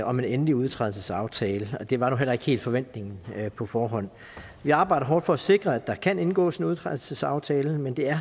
om en endelig udtrædelsesaftale og det var nu heller ikke helt forventningen på forhånd vi arbejder hårdt for at sikre at der kan indgås en udtrædelsesaftale men det er